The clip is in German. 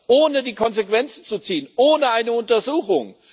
ohne die Konsequenzen zu ziehen, ohne eine Untersuchung?